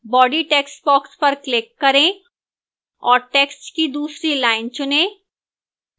body textbox पर click करें और text की दूसरी line चुनें